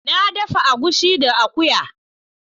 Na dafa egusi da akuya.